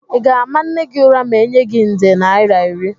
Ị ga-ama nne gị ụra ma enye gi nde naira iri?